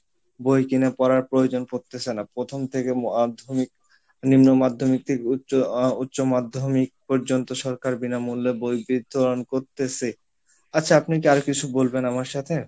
বই কিনে পড়ার প্রয়োজন পরতিছে না প্রথম থেকে মাধ্যমিক নিম্ন মাধ্যমিক থেকে উচ্চ আহ উচ্চ মাধ্যমিক পর্যন্ত সরকার বিনা মূল্যে বই বিতরন করতেছে আচ্ছা আপনি আর কিছু বলবেন আমার সাথে?